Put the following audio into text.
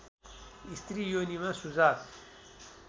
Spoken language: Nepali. स्त्री योनिमा सुजाक